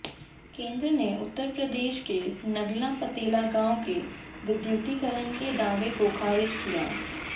केंद्र ने उत्तर प्रदेश के नगला फतेला गांव के विद्युतीकरण के दावे को खारिज किया